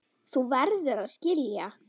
Þú verður að skilja.